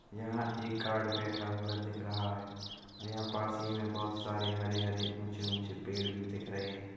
यहाँ एक गार्ड बैठा हुआ दिख रहा है औ यहाँ पास ही में बहुत सारे हरे-हरे ऊँचे-ऊँचे पेड़ भी दिख रहे हैं।